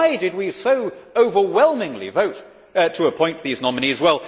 So why did we so overwhelmingly vote to appoint these nominees?